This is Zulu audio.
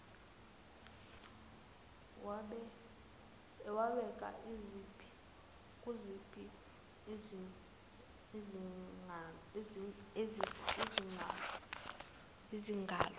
wabheka kuziphi izinkalo